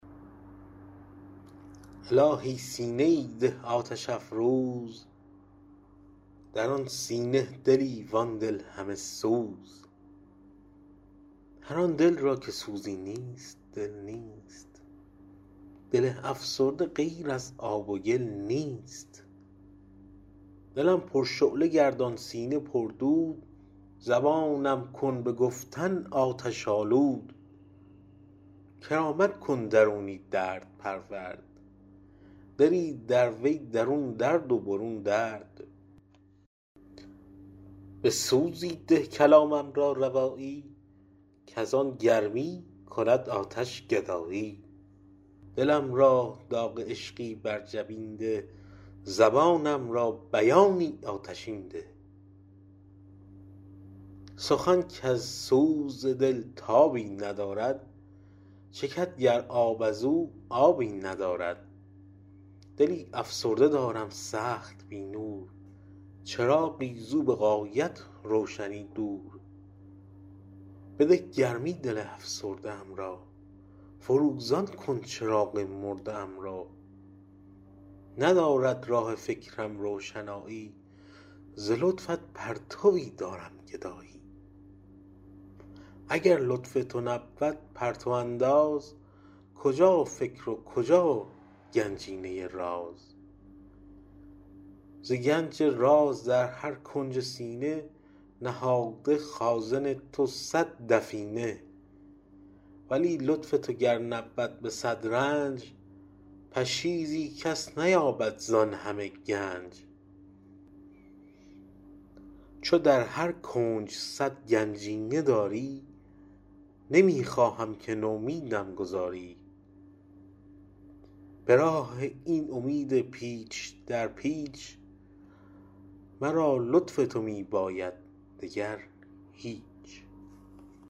الهی سینه ای ده آتش افروز در آن سینه دلی وان دل همه سوز هر آن دل را که سوزی نیست دل نیست دل افسرده غیر از آب و گل نیست دلم پرشعله گردان سینه پردود زبانم کن به گفتن آتش آلود کرامت کن درونی درد پرورد دلی در وی درون درد و برون درد به سوزی ده کلامم را روایی کز آن گرمی کند آتش گدایی دلم را داغ عشقی بر جبین نه زبانم را بیانی آتشین ده سخن کز سوز دل تابی ندارد چکد گر آب ازو آبی ندارد دلی افسرده دارم سخت بی نور چراغی زو به غایت روشنی دور بده گرمی دل افسرده ام را فروزان کن چراغ مرده ام را ندارد راه فکرم روشنایی ز لطفت پرتویی دارم گدایی اگر لطف تو نبود پرتو انداز کجا فکر و کجا گنجینه راز ز گنج راز در هر کنج سینه نهاده خازن تو صد دفینه ولی لطف تو گر نبود به صد رنج پشیزی کس نیابد زان همه گنج چو در هر کنج صد گنجینه داری نمی خواهم که نومیدم گذاری به راه این امید پیچ در پیچ مرا لطف تو می باید دگر هیچ